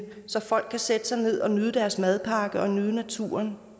så folk kan sætte sig ned og nyde deres madpakke og nyde naturen